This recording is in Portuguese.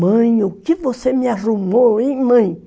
Mãe, o que você me arrumou, hein, mãe?